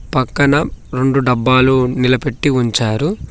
పక్కన రెండు డబ్బాలు నిలబెట్టి ఉంచారు.